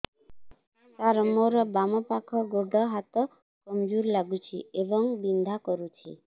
ସାର ମୋର ବାମ ପାଖ ଗୋଡ ହାତ କମଜୁର ଲାଗୁଛି ଏବଂ ବିନ୍ଧା କରୁଛି